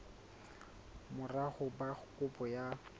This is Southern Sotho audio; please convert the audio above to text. mora ho ba kopo ya